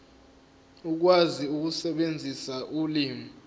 ukwazi ukusebenzisa ulimi